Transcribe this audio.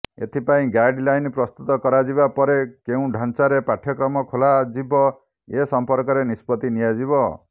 ଏଥିପାଇଁ ଗାଇଡଲାଇନ୍ ପ୍ରସ୍ତୁତ କରାଯିବା ପରେ କେଉଁ ଢାଞ୍ଚାରେ ପାଠ୍ୟକ୍ରମ ଖୋଲାଯିବ ଏ ସଂପର୍କରେ ନିଷ୍ପତ୍ତି ନିଆଯିବ